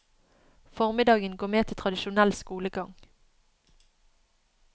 Formiddagen går med til tradisjonell skolegang.